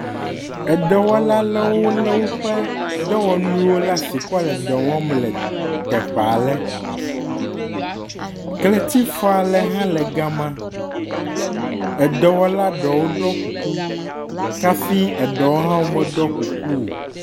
Edɔwɔla ɖewo le woƒe dɔwɔnuwo ɖe asi kɔ le dɔ wɔm le teƒe. Kletifɔ ɖe hã le ga ma. Edɔwɔla ɖewo hã ɖɔ kuku kafi eɖewo meɖɔ kuku o.